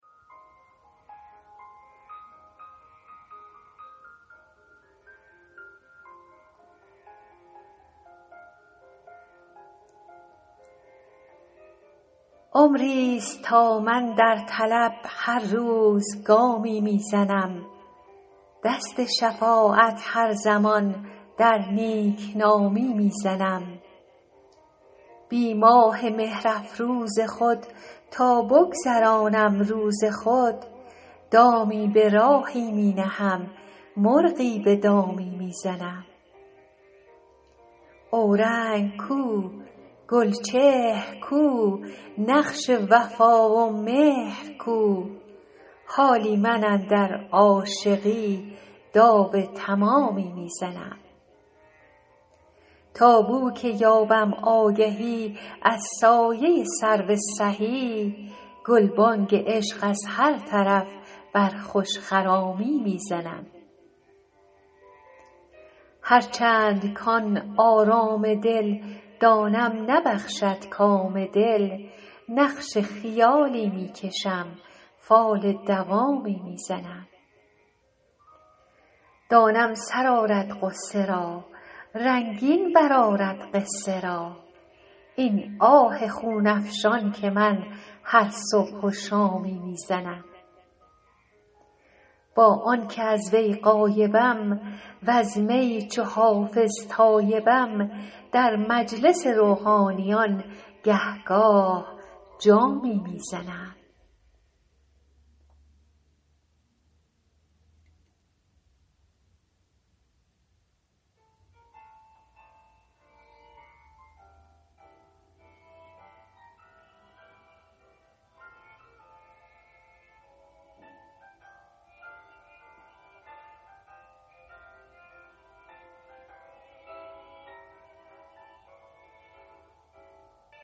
عمریست تا من در طلب هر روز گامی می زنم دست شفاعت هر زمان در نیک نامی می زنم بی ماه مهرافروز خود تا بگذرانم روز خود دامی به راهی می نهم مرغی به دامی می زنم اورنگ کو گلچهر کو نقش وفا و مهر کو حالی من اندر عاشقی داو تمامی می زنم تا بو که یابم آگهی از سایه سرو سهی گلبانگ عشق از هر طرف بر خوش خرامی می زنم هرچند کـ آن آرام دل دانم نبخشد کام دل نقش خیالی می کشم فال دوامی می زنم دانم سر آرد غصه را رنگین برآرد قصه را این آه خون افشان که من هر صبح و شامی می زنم با آن که از وی غایبم وز می چو حافظ تایبم در مجلس روحانیان گه گاه جامی می زنم